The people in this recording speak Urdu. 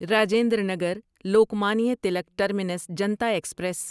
Rajendra Nagar Lokmanya Tilak terminus Janata express